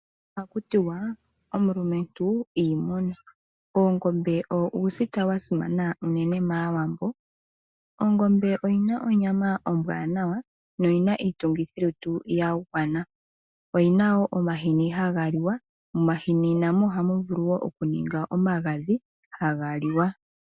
Oha ku tiwa omulumentu iimuna. Oongombe owo uusita wasimana unene maawambo. Ongombe oyina onyama ombwaanawa noyi na iitungithilutu yagwana. Oyina wo omahini haga liwa. Momahini namo oha mu vulu oku ningwa omagadhi nago haga liwa.